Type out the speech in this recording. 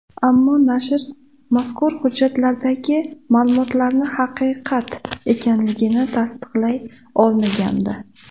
Ammo nashr mazkur hujjatlardagi ma’lumotlarni haqiqat ekanligini tasdiqlay olmagandi.